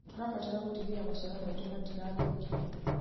Tũrabatara gũtigĩrĩra maciaro maitũ matirathũkio.